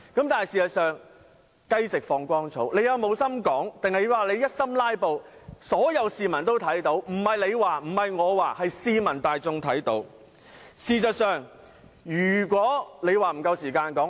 但是，"雞食放光蟲"，他們是有心發言還是只想"拉布"，所有市民都看得到；不是你說，不是我說，是市民大眾都看得到的。